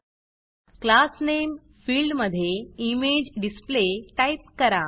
class Nameक्लास name फिल्डमधे image display type करा